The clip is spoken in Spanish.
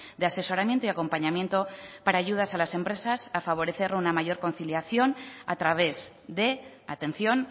de asesoramiento y acompañamiento para ayudas a las empresas a favorecer una mayor conciliación a través de atención